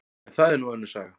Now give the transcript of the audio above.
En það er nú önnur saga.